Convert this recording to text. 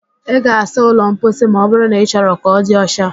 Ị ga-asa ụlọ mposi ma ọbụrụ na ị chọrọ ka ọ di ọcha